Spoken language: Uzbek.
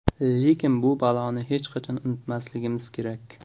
Lekin bu baloni hech qachon unutmasligimiz kerak.